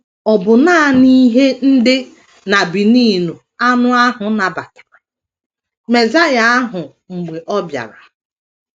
Ọ bụ nanị ihe ndi n’Benin anụ ahụ nabatara Mesaịa ahụ mgbe ọ bịara.